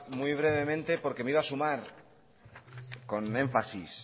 muy brevemente porque me iba a sumar con énfasis